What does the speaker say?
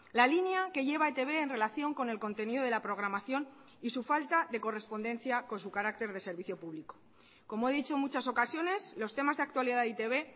la línea que lleva etb en relación con el contenido de la programación y su falta de correspondencia con su carácter de servicio público como he dicho en muchas ocasiones los temas de actualidad de e i te be